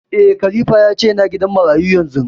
Eh, Khalifa ya ce yana gidan marayu yanzu